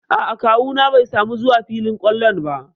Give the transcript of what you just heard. A'a kawu na bai samu zuwa filin ƙwallon ba.